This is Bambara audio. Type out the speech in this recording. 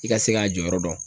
I ka se k'a jɔyɔrɔ dɔn.